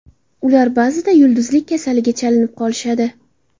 Ular ba’zida yulduzlik kasaliga chalinib qolishadi.